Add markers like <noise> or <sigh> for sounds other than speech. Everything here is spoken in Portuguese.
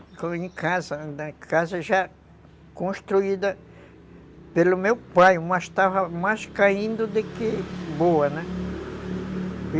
<unintelligible> casa, na casa já construída pelo meu pai, mas estava mais caindo do que boa, né?